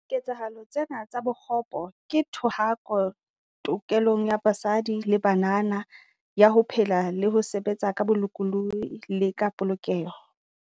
Diketsahalo tsena tsa bokgopo ke thohako tokelong ya basadi le banana ya ho phela le ho sebetsa ka bolokolohi le ka polokeho.